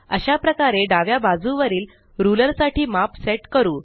अशाप्रकारे डाव्या बाजूवरील रुलर साठी माप सेट करू